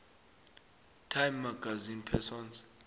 time magazine persons